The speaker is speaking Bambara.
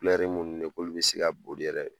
Ne yɛrɛ munnu ye k'olu bɛ se ka boli yɛrɛ